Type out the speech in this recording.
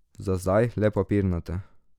Za zdaj le papirnate.